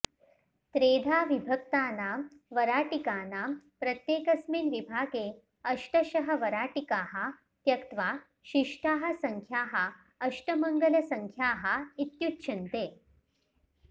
त्रेधा विभक्तानां वराटिकानां प्रत्येकस्मिन् विभागे अष्टशः वराटिकाः त्यक्त्वा शिष्टाः सङ्ख्याः अष्टमङ्गलसङ्ख्याः इत्युच्यन्ते